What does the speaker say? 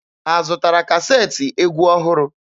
Ha zụtara kaseetị egwu ọhụrụ?